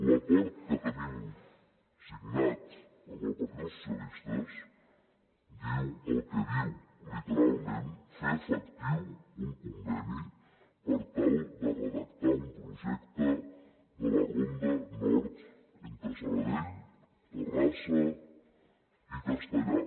l’acord que tenim signat amb el partit socialistes diu el que diu literalment fer efectiu un conveni per tal de redactar un projecte de la ronda nord entre sabadell terrassa i castellar